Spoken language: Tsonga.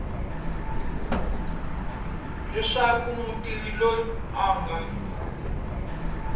leswaku mutirhi loyi a nga